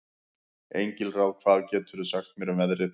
Engilráð, hvað geturðu sagt mér um veðrið?